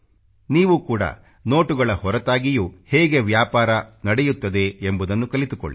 ನೀವು ಕೂಡಾ ನೋಟುಗಳ ಹೊರತಾಗಿಯೂ ಹೇಗೆ ವ್ಯಾಪಾರ ನಡೆಯುತ್ತದೆ ಎಂಬುದನ್ನು ಕಲಿತುಕೊಳ್ಳಿ